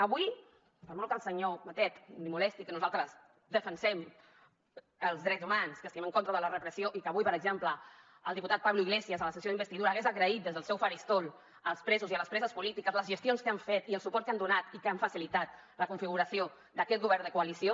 avui per molt que al senyor batet li molesti que nosaltres defensem els drets humans que estiguem en contra de la repressió i que avui per exemple el diputat pablo iglesias a la sessió d’investidura hagués agraït des del seu faristol als presos i a les preses polítiques les gestions que han fet i el suport que han donat i que han facilitat la configuració d’aquest govern de coalició